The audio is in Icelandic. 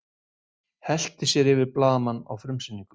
Hellti sér yfir blaðamann á frumsýningu